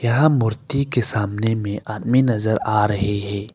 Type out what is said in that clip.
यहाँ मूर्ति के सामने में आदमी नजर आ रहे है।